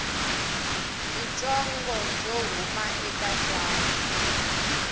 byitsongo byo huma eka tsalwa